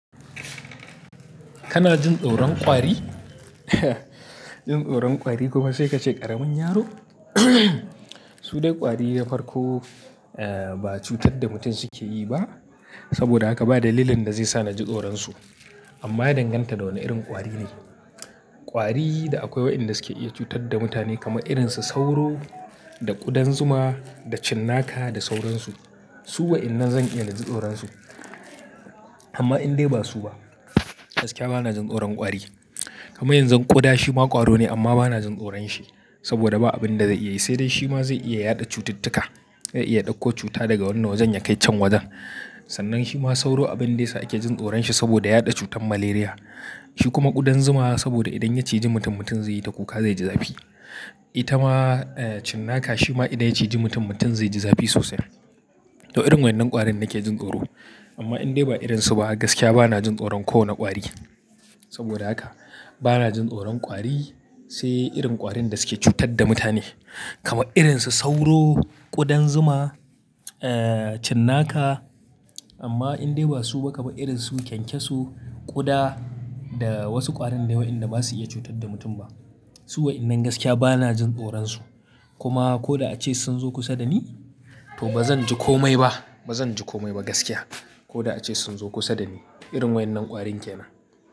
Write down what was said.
Kana jin tsoron kwari? Jin tsoron kwari kuma sai ka ce ƙaramin yaro? Su dai kwari ya farko, ba cutar da mutum suke yi ba saboda haka ba dalilin da zai sa na ji tsoron su. Amma ya danganta da wane irin kwari ne. Kwari da akwai waɗanda suke iya cutar da mutane kamar irin su sauro, da ƙudan zuma, da cinnaka da sauransu. Su waɗannan zan iya na ji tsoron su. Amma in dai ba su ba, gaskiya ba na jin tsoron kwari. Kamar yanzu ƙuda shi ma ƙwaro ne amma ba na jin tsoron shi saboda ba abin da zai iya yi, sai dai shi ma zai iya yaɗa cututtuka. Zai iya ɗauko cuta daga wani wajen ya kai can wajen. Sannan shi ma sauro abin da yasa ake jin tsoron shi saboda yaɗa cutar Malaria. Shi kuma ƙudan zuma saboda idan ya ciji mutum, mutum zai yi ta kuka, zai ji zafi. Ita ma, cinnaka shi ma idan ya ciji mutum, mutum zai ji zafi sosai. To irin waɗannan ƙwarin nake jin tsoro. Amma in dai ba irin su ba gaskiya ba na jin tsoron kowane kwari. Saboda haka ba na jin tsoron kwari sai irin ƙwarin da suke cutar da mutane kamar irin su sauro, ƙudan zuma, cinnaka. Amma in dai ba su ba kamar irin su kyankyasu, ƙuda da wasu ƙwarin dai waɗanda ba su iya cutar da mutum ba. Su waɗannan gaskiya ba na jin tsoron su. Kuma ko da ace sun zo kusa da ni, to ba zan ji kome ba, ba zan ji kome ba gaskiya. Ko da ace sun zo kusa da ni. Irin waɗannan ƙwarin ke nan.